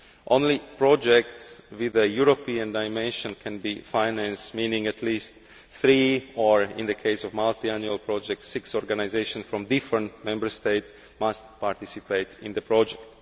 Only projects with a European dimension can be financed, meaning at least three or, in the case of multiannual projects, six organisations from different Member States must participate in the project.